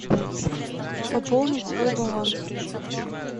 пополнить свой баланс